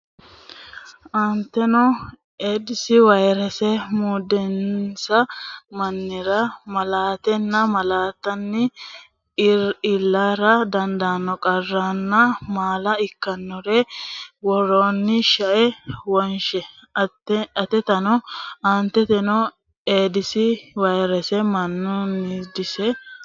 Aanteteno Eedis vayrese mundeensa mannira mallatenna mallaadatenni iillara dandaanno qarranna mala ikkannore woroonni shae wonshe Aanteteno Aanteteno Eedis vayrese mundeensa.